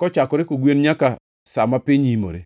kochakore kogwen nyaka sa ma piny imore.